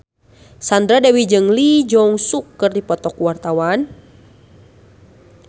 Sandra Dewi jeung Lee Jeong Suk keur dipoto ku wartawan